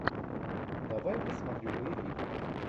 давай посмотрю боевик